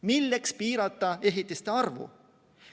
Milleks piirata ehitiste arvu?